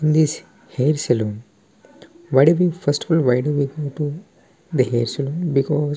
In this hair salon why do we first of all why do we because .